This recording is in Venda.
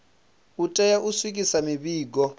u tea u swikisa mivhigo